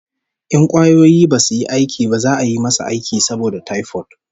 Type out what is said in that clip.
In kwayoyi basu yi aiki ba za'a yi masa aiki saboda typhoid